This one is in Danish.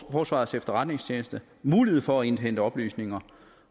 forsvarets efterretningstjeneste mulighed for at indhente oplysninger